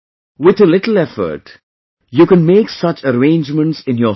With a little effort, you can make such arrangements in your home